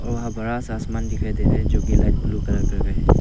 वहां बड़ा सा आसमान दिखाई दे रहा है जो की लाइट ब्ल्यू कलर कर का है।